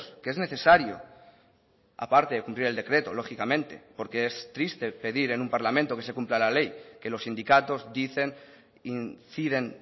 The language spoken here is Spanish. que es necesario aparte de cumplir el decreto lógicamente porque es triste pedir en un parlamento que se cumpla la ley que los sindicatos dicen inciden